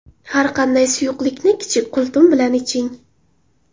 Har qanday suyuqlikni kichik qultum bilan iching.